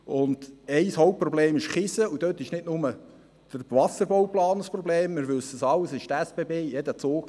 Ein Hauptproblem ist Kiesen, und dort ist nicht nur der Wasserbauplan ein Problem – wir wissen es alle –, es ist auch die SBB: